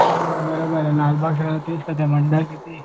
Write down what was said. हां मग ते तर बरोबर आहे लालबाग सगळं तेच करते मंडळाची ती